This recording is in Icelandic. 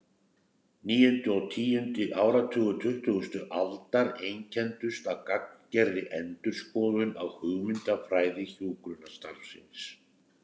Níundi og tíundi áratugur tuttugustu aldar einkenndust af gagngerri endurskoðun á hugmyndafræði hjúkrunarstarfsins.